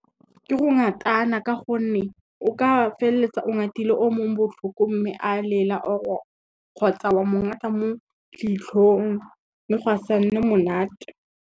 Ke go ngatana ka gonne, o ka feleletsa o ngatile o mongwe botlhoko mme a lela kgotsa wa mo ngata mo leitlhong mme gwa sa nne monate.